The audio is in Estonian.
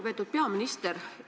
Lugupeetud peaminister!